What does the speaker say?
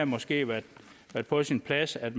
måske været på sin plads at